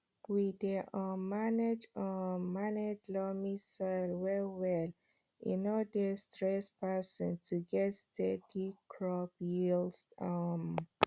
we dey um manage um manage loamy soil well well e no dey stress person to get steady crop yields um